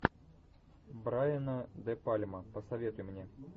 брайана де пальма посоветуй мне